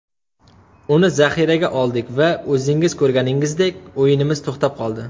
Uni zaxiraga oldik va o‘zingiz ko‘rganingizdek, o‘yinimiz to‘xtab qoldi.